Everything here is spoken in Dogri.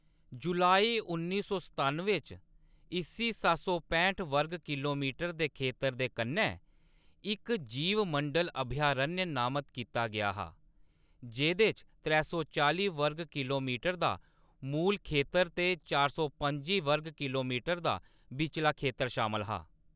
जुलाई उन्नी सौ सतानुएं च इस्सी सत्त सौ पैंह्ट वर्ग किलोमीटर दे खेतर दे कन्नै इक जीवमंडल अभयारण्य नामत कीता गेआ हा, जेह्‌‌‌दे च त्रै सौ चालीं वर्ग किलोमीटर दा मूल खेतर ते चार सौ पंजी वर्ग किलोमीटर दा बिचला खेतर शामल हा।